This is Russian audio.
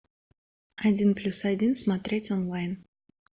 один плюс один смотреть онлайн